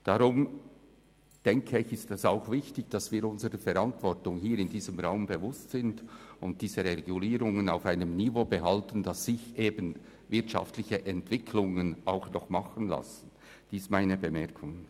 Deshalb erachte ich es als wichtig, dass wir uns unserer Verantwortung in diesem Saal bewusst sind und diese Regulierungen auf einem Niveau halten, auf welchem wirtschaftliche Entwicklungen noch stattfinden können.